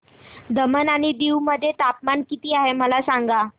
दमण आणि दीव मध्ये तापमान किती आहे मला सांगा